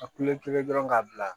A kule kelen dɔrɔn k'a bila